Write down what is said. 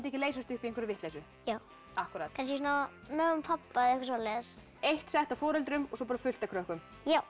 ekki leysast upp í einhverja vitleysu kannski mömmu og pabba eitthvað svoleiðis eitt sett af foreldrum og svo fullt af krökkum já